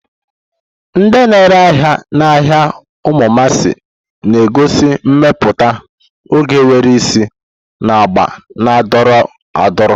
Ndị na-ere ahịa n'ahịa umumasi na-egosi mmepụta oge nwere isi na agba na-adọrọ adọrọ.